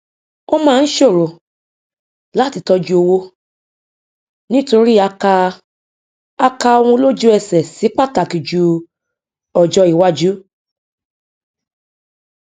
ó máa ń ṣòro láti tọjú owó nítorí a kà a kà ohun lójúẹsẹ sí pàtàkì ju ọjọ iwájú